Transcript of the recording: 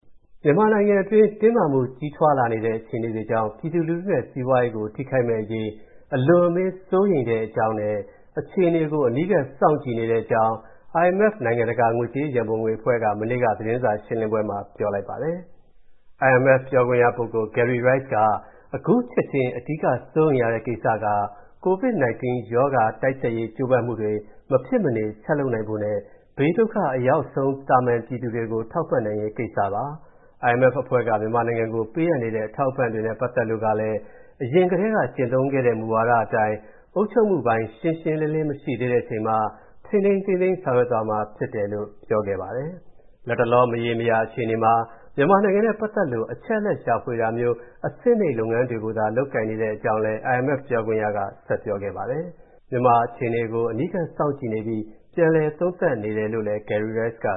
မြန်မာနိုင်ငံအတွင်း တင်းမာမှု ကြီးထွားလာနေတဲ့ အခြေအနေတွေကြောင့် ပြည်သူလူထုနဲ့ စီးပွားရေးကို ထိခိုက်မယ့်အရေး အလွန်အမင်း စိုးရိမ်တဲ့အကြောင်းနဲ့ အခြေအနေကို အနီးကပ် စောင့်ကြည့်နေတဲ့အကြောင်း IMF နိုင်ငံတကာ ငွေကြေးရန်ပုံငွေအဖွဲ့က မနေ့က သတင်းစာရှင်းလင်းပွဲမှာ ပြောဆိုပါတယ်။ “အခု ချက်ချင်း အဓိက စိုးရိမ်ရတဲ့ကိစ္စက COVID ရောဂါ တိုက်ဖျက်ရေး ကြိုးပမ်းမှုတွေ မဖြစ်မနေ ဆက်လုပ်နိုင်ဖို့နဲ့ ဘေးဒုက္ခအရောက်နိုင်ဆုံး သာမန်ပြည်သူတွေကို ထောက်ပံ့နိုင်ရေးကိစ္စပါ။ IMF အဖွဲ့က မြန်မာနိုင်ငံကို ပေးအပ်နေတဲ့ အထောက်အပံ့တွေနဲ့ ပတ်သက်လို့လည်း အရင်ကတည်းက ကျင့်သုံးခဲ့တဲ့ မူဝါဒအတိုင်း အုပ်ချုပ်မှုပိုင်း ရှင်းရှင်းလင်းလင်း မရှိသေးတဲ့အချိန်မှာ ထိန်းထိန်းသိမ်းသိမ်း ဆောင်ရွက်သွားမှာ ဖြစ်ပါတယ်" လို့ IMF ပြောခွင့်ရပုဂ္ဂိုလ် Gerry Rice က ပြောပါတယ်။ လတ်တလော မရေမရာ အခြေအနေမှာ မြန်မာနိုင်ငံနဲ့ ပတ်သက်လို့ အချက်အလက် ရှာဖွေတာမျိုးလို အဆင့်နိမ့် လုပ်ငန်းတွေသာ လုပ်ကိုင်နေတဲ့ အကြောင်းလည်း IMF ပြောခွင့်ရပုဂ္ဂိုလ်က ပြောပါတယ်။ မြန်မာနိုင်ငံ အခြေအနေကို အနီးကပ် စောင့်ကြည့်နေပြီး ပြန်လည် သုံးသပ်နေတယ်လို့လည်း Gerry Rice က